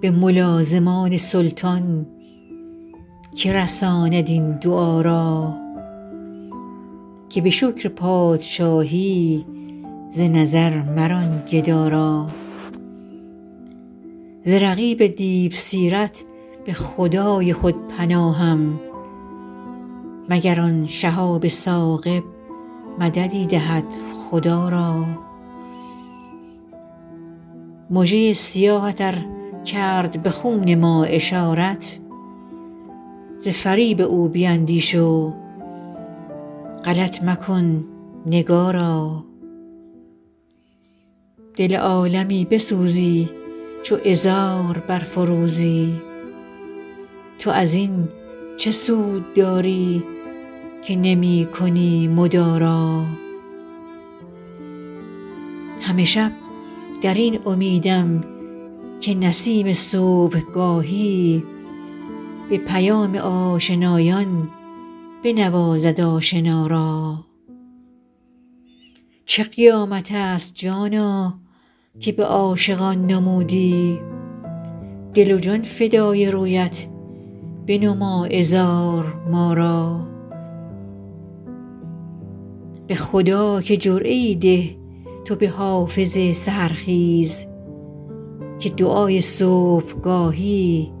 به ملازمان سلطان که رساند این دعا را که به شکر پادشاهی ز نظر مران گدا را ز رقیب دیوسیرت به خدای خود پناهم مگر آن شهاب ثاقب مددی دهد خدا را مژه ی سیاهت ار کرد به خون ما اشارت ز فریب او بیندیش و غلط مکن نگارا دل عالمی بسوزی چو عذار برفروزی تو از این چه سود داری که نمی کنی مدارا همه شب در این امیدم که نسیم صبحگاهی به پیام آشنایان بنوازد آشنا را چه قیامت است جانا که به عاشقان نمودی دل و جان فدای رویت بنما عذار ما را به خدا که جرعه ای ده تو به حافظ سحرخیز که دعای صبحگاهی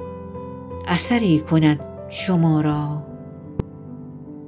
اثری کند شما را